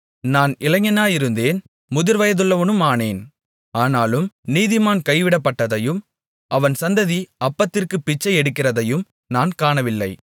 நான் இளைஞனாயிருந்தேன் முதிர்வயதுள்ளவனுமானேன் ஆனாலும் நீதிமான் கைவிடப்பட்டதையும் அவன் சந்ததி அப்பத்திற்கு பிச்சை எடுக்கிறதையும் நான் காணவில்லை